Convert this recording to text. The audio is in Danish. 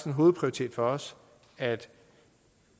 en hovedprioritet for os at